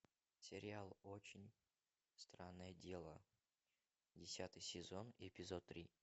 сериал очень странное дело десятый сезон эпизод три